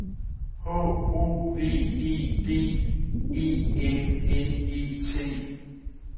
H O V E D E M N E T